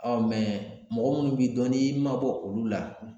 mɔgɔ minnu b'i dɔn n'i y'i mabɔ olu la